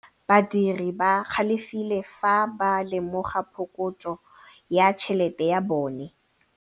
Badiri ba galefile fa ba lemoga phokotsô ya tšhelête ya bone.